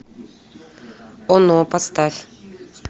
оно поставь